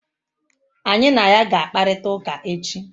Anyị na ya ga-akparịta ụka echi?